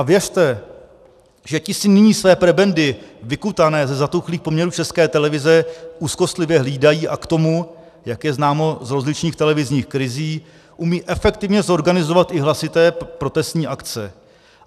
A věřte, že ti si nyní své prebendy vykutané ze zatuchlých poměrů České televize úzkostlivě hlídají a k tomu, jak je známo z rozličných televizních krizí, umějí efektivně zorganizovat i hlasité protestní akce.